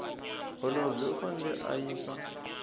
holobye u fanele a yisa